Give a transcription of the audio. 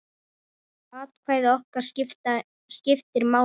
Atkvæði okkar skiptir máli.